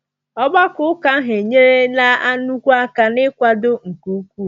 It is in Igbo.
Ọgbakọ ụka ahụ enyela nnukwu aka, n’ịkwado nke ukwuu.